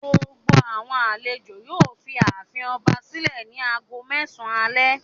Gbogbo àwọn àlejò yóò fi ààfin ọba sílẹ̀ ní ago mẹ́sàn-án alẹ́.